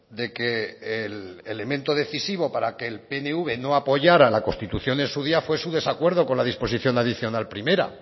de que el elemento decisivo para que el pnv no apoyara la constitución en su día fue su desacuerdo con la disposición adicional primera